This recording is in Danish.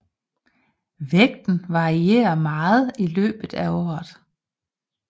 Vægten varierer meget i løbet af året